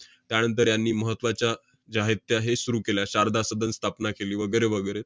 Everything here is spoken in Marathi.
त्यानंतर ह्यांनी महत्त्वाच्या जे आहेत, त्या हे सुरु केल्या, शारदा सदन स्थापना केली, वगैरे वगैरे.